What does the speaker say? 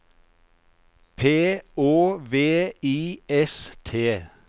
P Å V I S T